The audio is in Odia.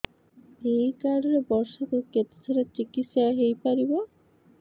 ଏଇ କାର୍ଡ ରେ ବର୍ଷକୁ କେତେ ଥର ଚିକିତ୍ସା ହେଇପାରିବ